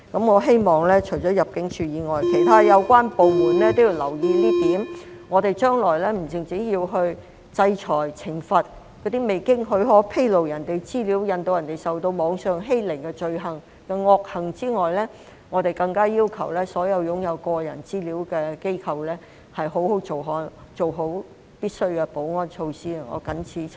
我希望除了入境處外，其他有關部門也要留意這一點，我們將來不單要制裁及懲罰那些未經許可披露他人資料，使他人受到網上欺凌的罪行和惡行外，更加要求所有擁有個人資料的機構必須做好必需的保安措施。